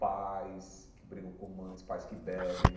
Pais que brigam com mães, pais que bebem.